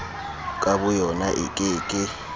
ka boyona e ke ke